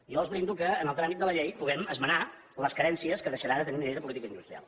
jo els brindo que en el tràmit de la llei puguem esmenar les carències que deixarà de tenir la llei de política industrial